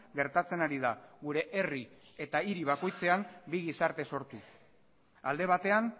gertatzen ari da gure herri eta hiri bakoitzean bi gizarte sortuz alde batean